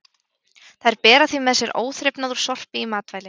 Þær bera því með sér óþrifnað úr sorpi í matvæli.